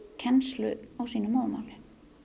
kennslu á sínu móðurmáli